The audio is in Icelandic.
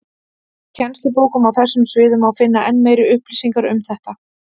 Í kennslubókum á þessum sviðum má finna enn meiri upplýsingar um þetta.